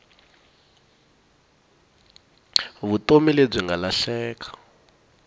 vutomi lebyi nga lahleka